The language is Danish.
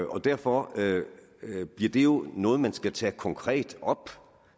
derfor bliver det jo noget man skal tage op konkret